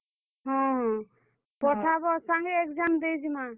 ହଁ ହଁ, ପଠାବ ସାଙ୍ଗେ exam ଦେଇ ଯିମା।